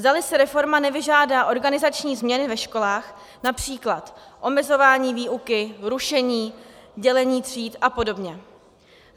Zdali si reforma nevyžádá organizační změny ve školách, například omezování výuky, rušení, dělení tříd a podobně.